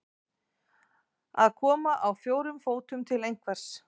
Að koma á fjórum fótum til einhvers